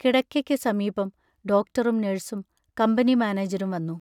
കിടക്കയ്ക്ക് സമീപം ഡോക്ടറും നേഴ്സും കമ്പനി മാനേജരും വന്നു.